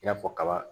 I n'a fɔ kaba